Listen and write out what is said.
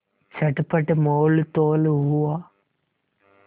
चटपट मोलतोल हुआ